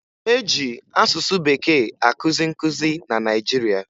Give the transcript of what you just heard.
E ji asụsụ Bekee akụzi nkụzi na Naịjirịa